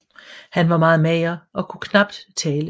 Han var meget mager og kunne knapt tale